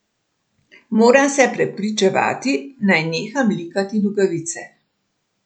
Moram se prepričevati, naj neham likati nogavice.